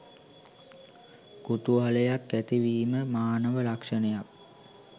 කුතුහලයක් ඇතිවීම මානව ලක්ෂණයක්.